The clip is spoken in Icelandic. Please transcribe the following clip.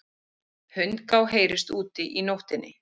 Hundgá heyrist úti í nóttinni.